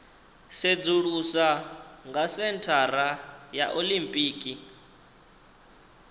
sedzulusa ha senthara ya olimpiki